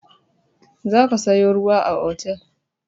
Za ka sayo ruwa a otel!